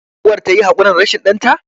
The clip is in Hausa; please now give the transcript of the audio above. uwar ta yi hakuri rashin danta?